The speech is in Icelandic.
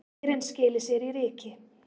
Leirinn skili sér í ryki.